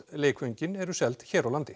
leikföngin eru seld hér á landi